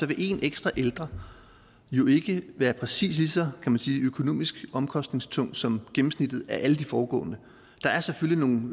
vil én ekstra ældre jo ikke være præcis lige så man sige økonomisk omkostningstung som gennemsnittet af alle de foregående der er selvfølgelig nogle